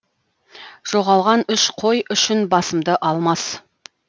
жоғалған үш қой үшін басымды алмас